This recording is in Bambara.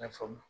I n'a fɔ